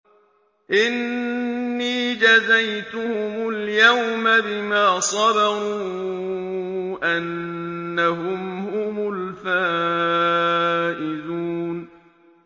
إِنِّي جَزَيْتُهُمُ الْيَوْمَ بِمَا صَبَرُوا أَنَّهُمْ هُمُ الْفَائِزُونَ